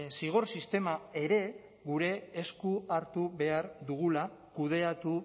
zigor sistema ere gure esku hartu behar dugula kudeatu